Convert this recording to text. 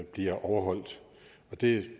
bliver overholdt det